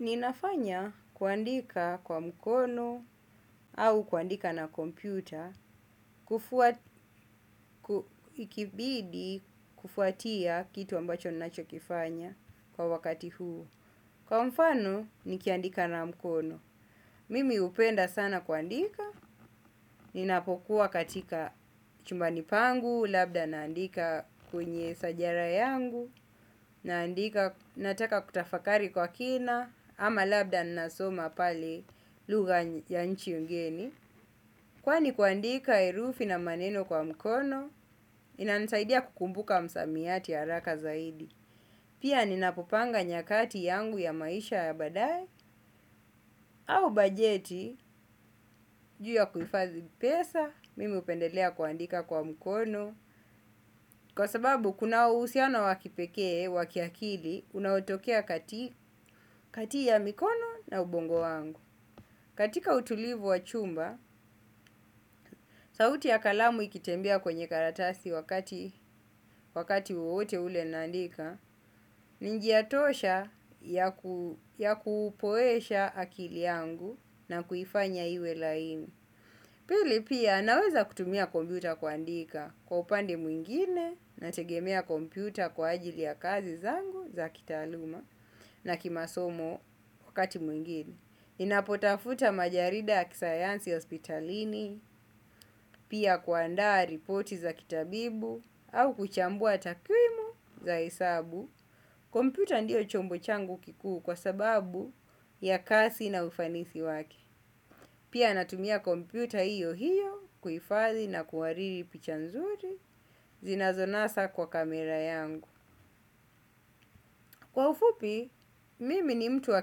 Ninafanya kuandika kwa mkono au kuandika na kompyuta, ikibidi kufuatia kitu ambacho nacho kifanya kwa wakati huu. Kwa mfano, nikiandika na mkono. Mimi upenda sana kuandika, ninapokuwa katika chumbani pangu, labda naandika kuenye sajara yangu, naandika, nataka kutafakari kwa kina. Ama labda nasoma pale luga ya nchi ungeni. Kwani kuandika erufi na maneno kwa mkono. Inanisaidia kukumbuka msamiyati haraka zaidi. Pia ninapopanga nyakati yangu ya maisha ya badai. Au bajeti juya kuifadhi pesa. Mimi upendelea kuandika kwa mkono. Kwa sababu kuna usianao wakipekee wakiakili unaotokea kati ya mikono na ubongo wangu. Katika utulivu wa chumba sauti ya kalamu ikitembea kwenye karatasi wakati wowote ule naandika. Ninjiatosha ya kupoesha akili yangu na kufanya iwe laini. Pili pia naweza kutumia kompiuta kuandika. Kwa upande mwingine na tegemea kompiuta kwa ajili ya kazi zangu za kita aluma na kimasomo wakati mwengine ninapotafuta majarida ya kisayansi hospitalini. Pia kuandaa ripoti za kitabibu au kuchambua takwimu za esabu. Kompiuta ndio chombo changu kikuu kwa sababu ya kasi na ufanisi wake. Pia natumia kompiuta hiyo hiyo kuifadhi na kuwariri picha nzuri zinazonasa kwa kamera yangu. Kwa ufupi, mimi ni mtu wa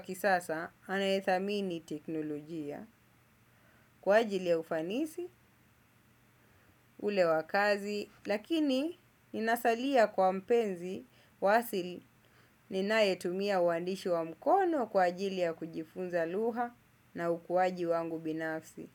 kisasa anayethamini teknolojia kwa ajili ya ufanisi ule wakazi lakini inasalia kwa mpenzi wasili ninayetumia uandishu wa mkono kwa ajili ya kujifunza luha na ukuwaji wangu binafsi.